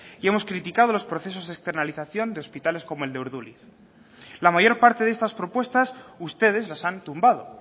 y hemos criticado los procesos externalización de hospitales como el de urduliz la mayor parte de estas propuestas ustedes las han tumbado